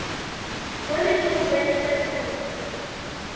hona ke hobane tsa tlhaho